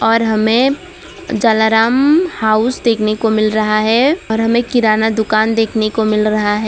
और हमें जलाराम हाउस देखने को मिल रहा है और हमें किराना दुकान देखने को मिल रहा है।